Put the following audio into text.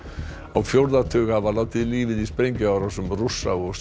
á fjórða tug hafa látið lífið í sprengjuárásum Rússa og